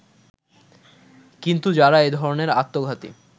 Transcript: কিন্তু যারা এ-ধরনের আত্মঘাতী